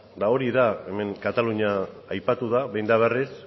hori da hemen katalunia aipatu da behin eta berriz